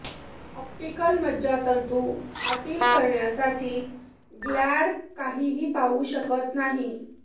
optical मज्जातंतू आतील करण्यासाठी ग्लॅड काहीही पाहू शकत नाही